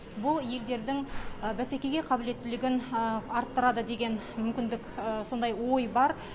бұл елдердің бәсекеге қабілеттілігін арттырады деген мүмкіндік сондай ой бар